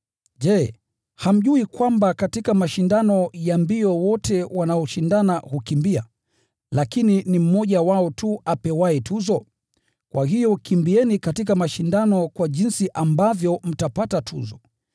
Je, hamjui kwamba katika mashindano ya mbio wote wanaoshindana hukimbia, lakini ni mmoja wao tu apewaye tuzo? Kwa hiyo kimbieni katika mashindano kwa jinsi ambavyo mtapata tuzo.